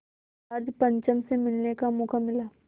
George पंचम से मिलने का मौक़ा मिला